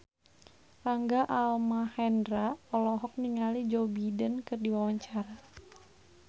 Rangga Almahendra olohok ningali Joe Biden keur diwawancara